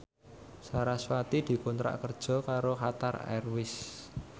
sarasvati dikontrak kerja karo Qatar Airways